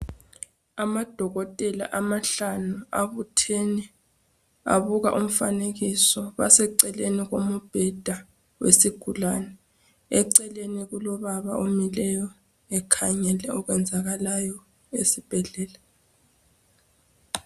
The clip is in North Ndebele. Amadokotela amahlanu abuthene abuka umfanekiso baseceleni kombheda wesigulane. Eceleni kombheda kulobaba omileyo ekhangele okwenzakalayo esibhedlela.